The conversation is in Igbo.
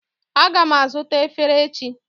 Aga m azụta efere echi